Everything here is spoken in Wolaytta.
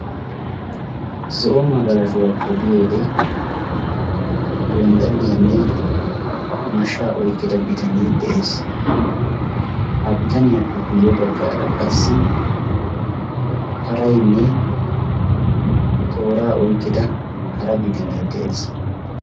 Zo'o magalashuwaa pogiyoode gonddaliyaanne mashsha oyqqida bitanee de'ees. Ha bitaniyaappe guyye baggaara qassi paraynne tooraa oyqqida hara bitanee de'ees.